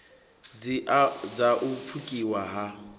dz a u pfukiwa ha